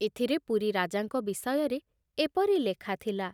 ଏଥିରେ ପୁରୀ ରାଜାଙ୍କ ବିଷୟରେ ଏପରି ଲେଖା ଥିଲା